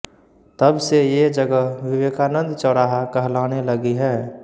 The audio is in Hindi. तबसे ये जगह विवेकानंद चौराहा कहलाने लगी है